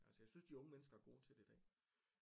Altså jeg synes de unge mennesker er gode til det i dag